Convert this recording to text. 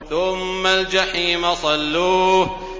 ثُمَّ الْجَحِيمَ صَلُّوهُ